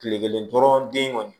Kile kelen dɔrɔn den kɔni